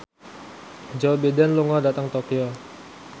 Joe Biden lunga dhateng Tokyo